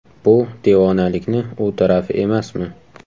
Bu devonalikni u tarafi emasmi?